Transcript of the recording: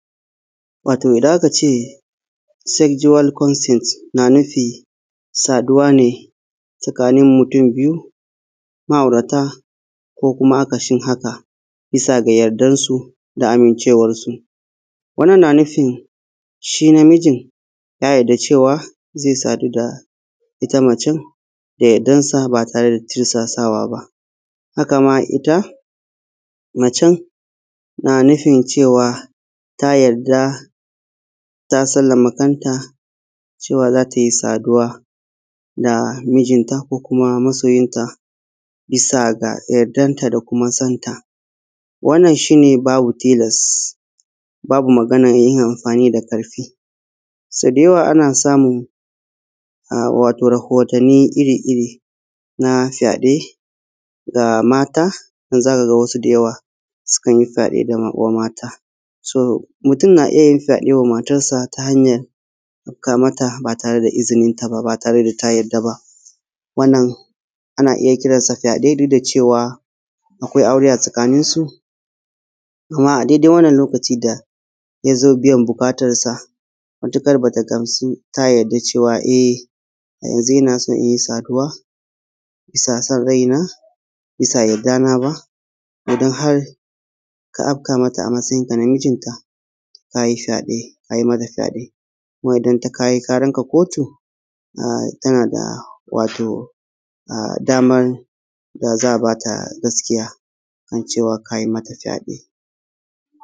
Wato idan aka ce “sexual conscience” na nufi saduwa ne sakanin mutum biyu ma'aurata ko kuma akasin haka bisa ga yardan su da amincewarsu. Wannan, na nufin, shi namijin ya yadda cewa ze sadu da ita macen da yadan sa ba tare da tirsasawa ba. Haka ma, ita macen na nufin cewa ta yadda ta sallama kanta cewa za ta yi saduwa da mijinta ko kuma masoyinta bisa ga yardan ta da kuma san ta wannan shi ne babu tilas babu maganan yin anfani da ƙarfi. So da yawa ana samun a; wato rahotanni iri-iri ma fyaɗe ga mata, za ka ga wasu da yawa sukan yi fyaɗe ga wa mata. “so” mutum na iya yin fyaɗe wa matansa ta hanyan afka mata ba tare da izinin ta ba, ba tare da ta yarda ba, wannan ana iya kiran sa fyaɗe duk da cewa akwai aure a tsakanin su. Kuma a dede wannan lokaci da ya zo biyan buƙatarsa matuƙar ba ta gamsu ta yarda da cewa eh yanzu ina so in yi saduwa bisa san raina, bisa yardana ba, idan har ka afka mata a masayin ka na mijinta, ka yi fyaɗe ka yi mata fyaɗe. Kuma idan ta kayi karan ka kotu, a; tana da a; wato daman da za a ba ta gaskiya kam cewa kayi mata fyaɗe.